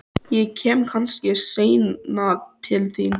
Ég kem kannski seinna til þín.